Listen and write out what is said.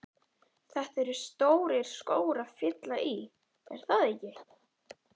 Þetta eru stórir skór að fylla í, er það ekki?